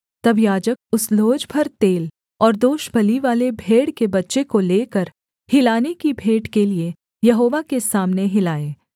तब याजक उस लोज भर तेल और दोषबलिवाले भेड़ के बच्चे को लेकर हिलाने की भेंट के लिये यहोवा के सामने हिलाए